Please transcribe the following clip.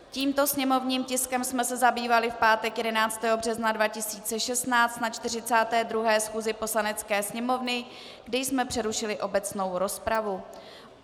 Tímto sněmovním tiskem jsme se zabývali v pátek 11. března 2016 na 42. schůzi Poslanecké sněmovny, kdy jsme přerušili obecnou rozpravu.